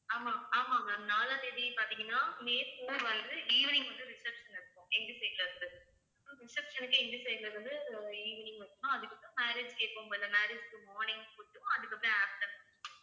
ஆமாம் ஆமாம் ma'am நாளாம் தேதி பாத்தீங்கன்னா மே four வந்து evening வந்து reception இருக்கும் எங்க side ல இருந்து அப்ப reception க்கு எங்க side ல இருந்து evening அதுக்கு அப்புறம் marriage க்கு எப்பவும் போல marriage க்கு morning food க்கும் அதுக்கப்புறம் afternoon food